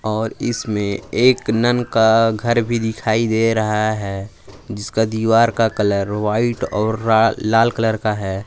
और इसमें एक नन का घर भी दिखाई दे रहा है जिसका दीवार का कलर व्हाइट और रा लाल कलर का है।